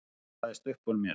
goppaðist uppúr mér.